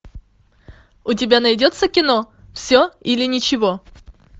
у тебя найдется кино все или ничего